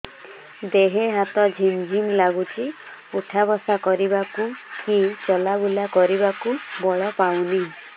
ଦେହେ ହାତ ଝିମ୍ ଝିମ୍ ଲାଗୁଚି ଉଠା ବସା କରିବାକୁ କି ଚଲା ବୁଲା କରିବାକୁ ବଳ ପାଉନି